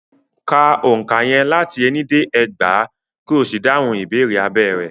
Ka òǹkà yẹn láti ení dé ẹgbàá, ko sì dáhùn ìbéèrè abẹ́ rẹ̀.